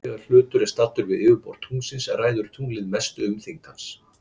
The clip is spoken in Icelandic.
Þegar hlutur er staddur við yfirborð tunglsins ræður tunglið mestu um þyngd hans.